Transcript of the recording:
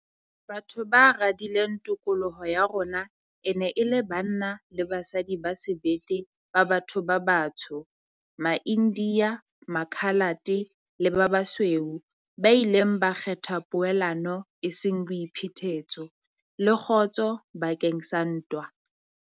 Batho ba radileng tokoloho ya rona e ne e le banna le basadi ba sebete ba batho ba batsho, maIndiya, Makhalate le ba basweu ba ileng ba kgetha poelano eseng boiphetetso, le kgotso bakeng sa ntwa.